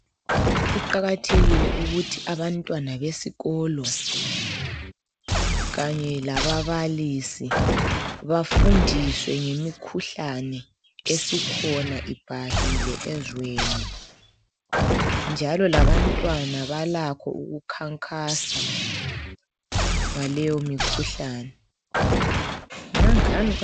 Kuqakathekile ukuthi abantwana besikolo kanye lababalisi bafundiswe ngemikhuhlane esikhona ibhahile ezweni njalo labantwana balakho ukukhankasa ngaleyo mikhuhlane.